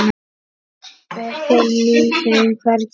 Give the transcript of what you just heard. Við finnum þeim hvergi farveg.